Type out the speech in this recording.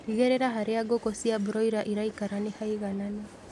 Tigĩrĩra harĩa ngũkũ cia broila iraikara nĩ haigananu